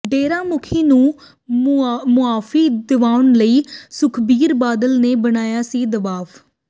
ਡੇਰਾ ਮੁਖੀ ਨੂੰ ਮੁਆਫੀ ਦਿਵਾਉਣ ਲਈ ਸੁਖਬੀਰ ਬਾਦਲ ਨੇ ਬਣਾਇਆ ਸੀ ਦਬਾਅ